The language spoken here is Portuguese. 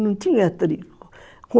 Não tinha trinco.